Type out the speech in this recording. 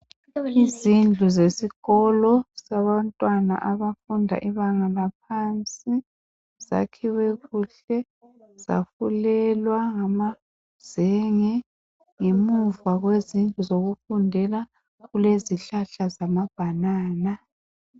Izindlu zesikolo ezabantwana abafunda ibanga laphansi. Sakhiwe kuhle. Sifulelwe ngamazenge. Ngemuva kwesambuzi, kukhona izihlahla zamabhanana.